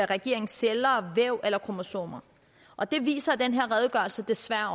regeringens celler væv eller kromosomer og det viser den her redegørelse desværre